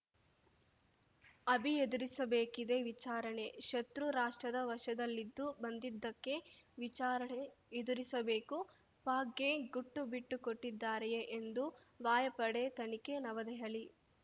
ಅಭಿ ಎದುರಿಸಬೇಕಿದೆ ವಿಚಾರಣೆ ಶತ್ರು ರಾಷ್ಟ್ರದ ವಶದಲ್ಲಿದ್ದು ಬಂದಿದ್ದಕ್ಕೆ ವಿಚಾರಣೆ ಎದುರಿಸಬೇಕು ಪಾಕ್‌ಗೆ ಗುಟ್ಟು ಬಿಟ್ಟುಕೊಟ್ಟಿದ್ದಾರೆಯೇ ಎಂದು ವಾಯುಪಡೆ ತನಿಖೆ ನವದೆಹಲಿ